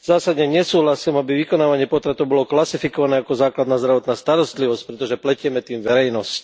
Zásadne nesúhlasím, aby vykonávanie potratov bolo klasifikované ako základná zdravotná starostlivosť, pretože pletieme tým verejnosť.